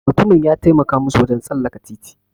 Mutumin ya taimaka musu wajen tsallaka titi.